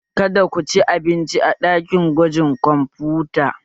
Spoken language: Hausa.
Kada ku ci abinci a ɗakin gwajin kwamfuta!